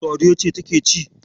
Sadiya ce take ci.